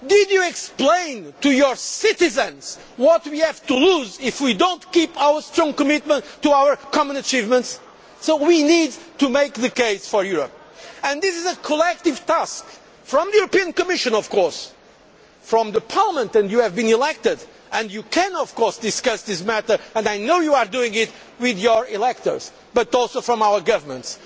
euro? Did you explain to your citizens what we have to lose if we do not keep our strong commitment to our common achievements? So we need to make the case for Europe. And this is a collective task from the European Commission, of course, from Parliament and you have been elected and you can of course discuss this matter and I know you are doing it with your electors but also from our governments.